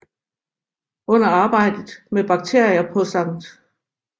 Under arbejdet med bakterier på St